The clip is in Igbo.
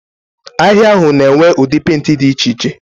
Ahịa ahụ na-enwe ụdị pentị dị iche iche.